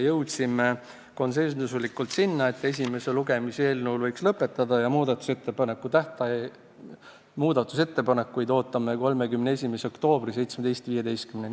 Jõudsime konsensuslikult selleni, et eelnõu esimese lugemise võiks lõpetada ja muudatusettepanekuid ootame 31. oktoobril kella 17.15-ni.